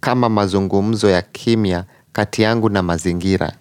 kama mazungumzo ya kimya, kati yangu na mazingira.